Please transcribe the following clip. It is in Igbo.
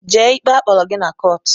Jee ikpe a kpọrọ gị na kọọt!